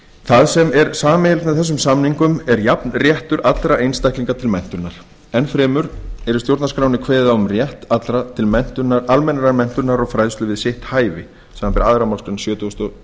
það sem er sameiginlegt með þessum samningum er jafn réttur allra einstaklinga til menntunar enn fremur er í stjórnarskránni kveðið á um rétt allra til almennrar menntunar og fræðslu við sitt hæfi samanber aðra málsgrein sjötugustu og